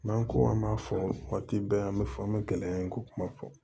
N'an ko an b'a fɔ waati bɛɛ an bɛ fɔ an bɛ gɛlɛya in ko kuma fɔ